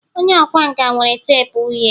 onye ọkwá nkà nwere teepu uhie